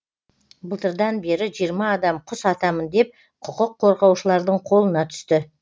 былтырдан бері жиырма адам құс атамын деп құқық қорғаушылардың қолына түсті